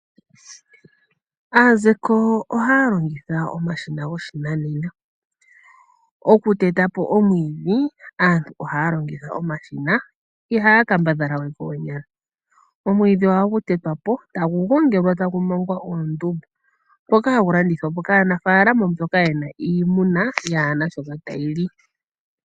Aazeko ohaya longitha omashina goshinanena. Okuteta po omwiidhi aantu ohaya longitha omashina, ihaya kambadhala we koonyala. Omwiidhi ohagu tetwa po tagu gongelwa tagu mangwa omundu, ngoka hagu landithwa po kaanafaalama mboka yena iimuna yaana shoka tayi li.